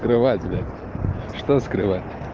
скрывать блять что скрывать